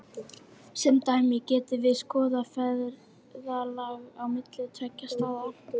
Sem dæmi getum við skoðað ferðalag á milli tveggja staða.